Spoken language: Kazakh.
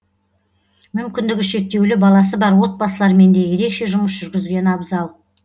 мүмкіндігі шектеулі баласы бар отбасылармен де ерекше жұмыс жүргізген абзал